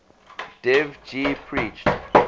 dev ji preached